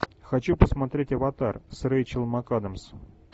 хочу посмотреть аватар с рэйчел макадамс